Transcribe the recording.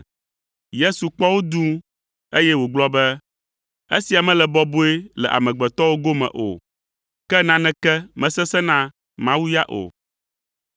Yesu kpɔ wo dũu, eye wògblɔ be, “Esia mele bɔbɔe le amegbetɔwo gome o, ke naneke mesesẽna na Mawu ya o.”